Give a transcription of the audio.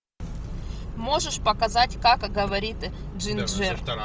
можешь показать как говорит джинджер